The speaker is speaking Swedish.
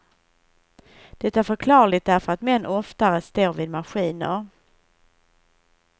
Det är förklarligt därför att män oftare står vid maskiner.